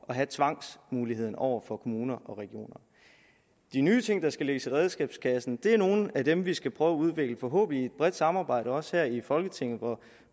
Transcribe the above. have tvangsmuligheden over for kommuner og regioner de nye ting der skal lægges i redskabskassen er nogle af dem vi skal prøve at udvikle forhåbentlig i et bredt samarbejde også her i folketinget